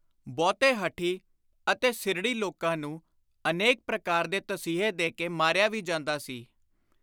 ਬਹੁਤੇ ਹਠੀ ਅਤੇ ਸਿਰੜੀ ਲੋਕਾਂ ਨੂੰ ਅਨੇਕ ਪ੍ਰਕਾਰ ਦੇ ਤਸੀਹੇ ਦੇ ਕੇ ਮਾਰਿਆ ਵੀ ਜਾਂਦਾ ਸੀ।